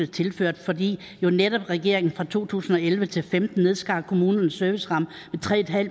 tilført fordi netop regeringen fra to tusind og elleve til femten nedskar kommunernes serviceramme med tre